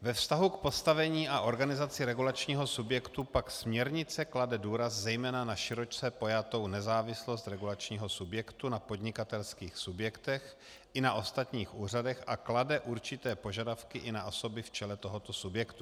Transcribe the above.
Ve vztahu k postavení a organizaci regulačního subjektu pak směrnice klade důraz zejména na široce pojatou nezávislost regulačního subjektu na podnikatelských subjektech i na ostatních úřadech a klade určité požadavky i na osoby v čele tohoto subjektu.